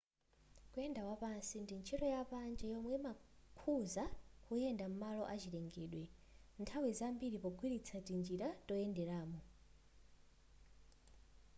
kuyenda wapansi ndi ntchito ya panja yomwe imakhuza kuyenda m'malo azachilengedwe nthawi zambiri pogwiritsa tinjira toyenderamo